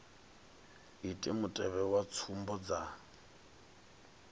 ite mutevhe wa tsumbo dza